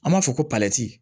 An b'a fɔ ko